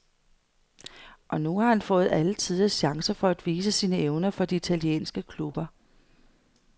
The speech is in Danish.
Og nu har han fået alletiders chance for at vise sine evner for de italienske klubber.